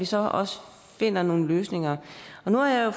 så også finder nogle løsninger og nu har jeg